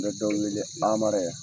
N bɛ dɔw wele anma yan